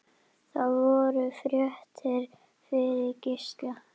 Það voru fréttir fyrir Gísla.